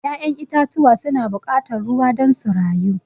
ya'yan itatuwa su na buƙatan ruwa don su rayu.